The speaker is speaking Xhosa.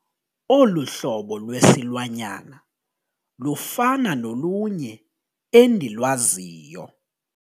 Olu hlobo lwesilwanyana lufana nolunye endilwaziyo.